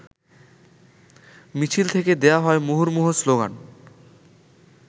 মিছিল থেকে দেয়া হয় মুহুর্মুহু স্লোগান।